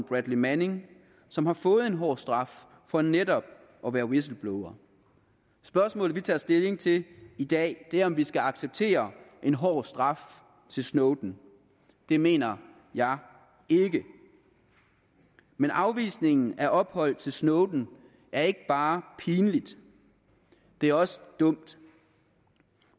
bradley manning som har fået en hård straf for netop at være whistleblower spørgsmålet vi tager stilling til i dag er om vi skal acceptere en hård straf til snowden det mener jeg ikke men afvisningen af ophold til snowden er ikke bare pinlig det er også dumt